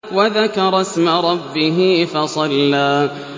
وَذَكَرَ اسْمَ رَبِّهِ فَصَلَّىٰ